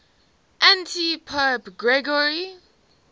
antipope gregory